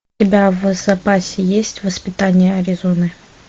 у тебя в запасе есть воспитание аризоны